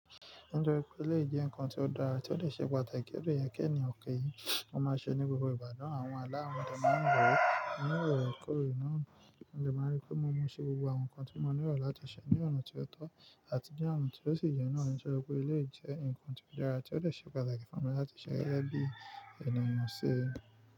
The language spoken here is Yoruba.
Nítorí pé eléyi je nǹkan tí ó dára tí ó dè ṣe pàtàkì ó de yẹ kí ènìyàn ki, ó máa ṣe ní gbogbo ìgba naa, àwọn alá nígbà wo, ní ìwúwo kuro náà, mo de máa rí pé mo mọ iṣẹ́ gbogbo àwọn nǹkan tí mo nílò láti ṣe ní ọ̀nà tí ó tọ́ àti ni ona tí ó sì yẹ́ náà nítorí pé eleyi jẹ́ nǹkan tí ó dára tí ó dè ṣe pàtàkì fún mi láti ṣe gege bí ènìyàn ṣe.